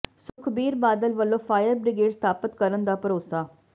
ਸੁਖਬੀਰ ਬਾਦਲ ਵੱਲੋ fire brigade ਸਥਾਪਤ ਕਰਨ ਦਾ ਭਰੋਸਾ